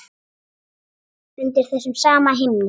Undir þessum sama himni.